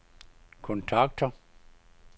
kontakter